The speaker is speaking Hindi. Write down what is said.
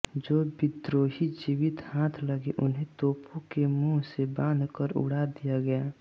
जो विद्रोही जीवित हाथ लगे उन्हें तोपों के मुँह से बाँधकर उड़ा दिया गया